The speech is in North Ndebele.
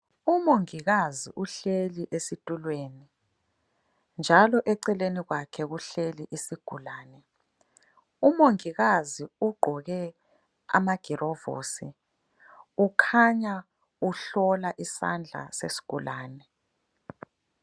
Umongikazi uhleli esitulweni njalo eceleni kwakhe kuhleli isigulane. Umongikazi ugqoke amagirovosi kukhanya uhlola isandla sesigulane.